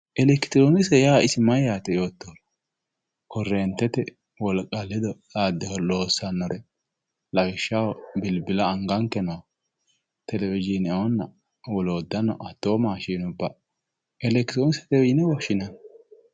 Elekitiroonnikkise yaa mayyaate yite xa'moottoetera korreentete wolqa ledo xaadde loossannore lawishshaho bilbila angankera nooha telewishiine woloottanno hatto maashinnubba elekitiroonikkisetewe yine woshshinayi.